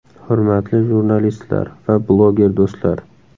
Hurmatli jurnalistlar va bloger do‘stlar!